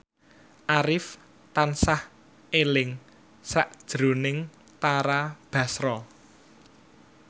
Arif tansah eling sakjroning Tara Basro